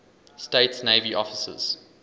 states navy officers